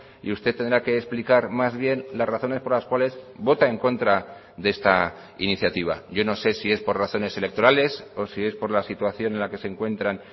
y usted tendrá que explicar más bien las razones por las cuales vota en contra de esta iniciativa yo no sé si es por razones electorales o si es por la situación en la que se encuentran